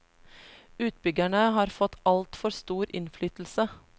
Utbyggerne har fått altfor stor innflytelse.